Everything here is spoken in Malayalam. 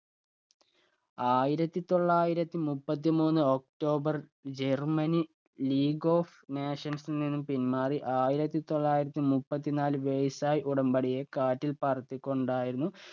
ആയിരത്തി തൊള്ളായിരത്തി മുപ്പത്തിമൂന്ന് october ജര്‍മ്മനി ലീഗ് ഓഫ് നാഷൻസിൽ നിന്ന് പിന്മാറി ആയിരത്തി തൊള്ളായിരത്തി മുപ്പത്തി നാല് versai ഉടമ്പടിയെ കാറ്റിൽ പറത്തിക്കൊണ്ടായിരുന്നു